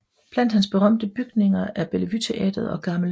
Blandt hans berømte bygninger er Bellevue Teatret og Gl